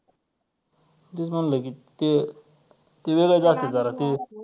तेच म्हंटल की ते ते वेगळंच असत्यात जरासं.